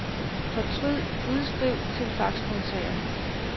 Fortryd udskriv til faxmodtager.